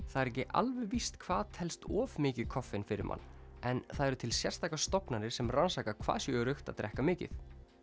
það er ekki alveg víst hvað telst of mikið koffein fyrir mann en það eru til sérstakar stofnanir sem rannsaka hvað sé öruggt að drekka mikið